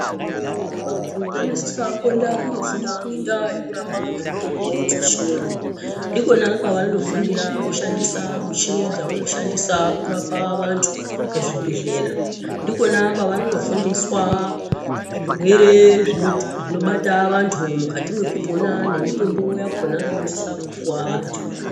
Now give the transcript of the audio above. Vantu vanosisawo kuenda kundofunda ngendaa yekurapa ngemitombo dzechiyungu. Ndikona kwavanofundira kushhandisa muchini dzavanoshandisa kurapa vantu muzvibhedhlera. Ndikona kavanofundiswa zvinoti zvirwere zvinobata vantu mukati mwekupona nemitombo yakhona inosisa kupuwa vantu.